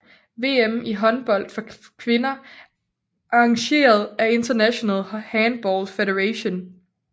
VM i håndbold for kvinder arrangeret af International Handball Federation